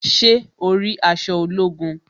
Ṣé o rí aṣọ ológun?